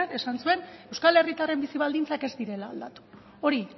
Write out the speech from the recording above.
esan zuen euskal herritarren bizi baldintzak ez direla aldatu hori